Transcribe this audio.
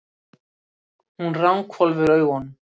Hún ranghvolfir augunum.